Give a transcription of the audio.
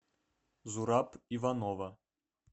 зураб иванова